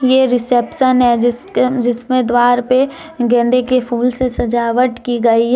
ये रिसेप्शन है जिसके जिसमें द्वार पे गेंदे के फूल से सजावट की गई है।